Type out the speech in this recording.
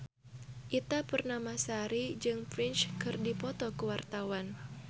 Ita Purnamasari jeung Prince keur dipoto ku wartawan